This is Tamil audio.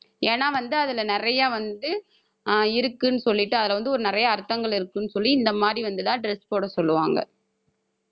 ஏன்னா வந்து அதுல நிறைய வந்து ஆஹ் இருக்குன்னு சொல்லிட்டு அதுல வந்து ஒரு நிறைய அர்த்தங்கள் இருக்குன்னு சொல்லி இந்த மாதிரி வந்து எல்லாம் dress போட சொல்லுவாங்க.